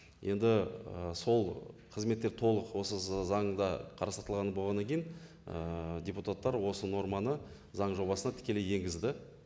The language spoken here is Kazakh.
енді і сол қызметтер толық осы заңда қарастырылып болғаннан кейін ііі депутаттар осы норманы заң жобасына тікелей енгізді